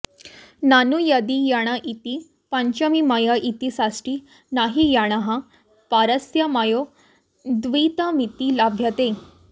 ननु यदि यण इति पञ्चमी मय इति षष्ठी तर्हि यणः परस्य मयो द्वित्वमिति लभ्यते